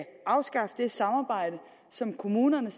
afskaffe det samarbejde som kommunerne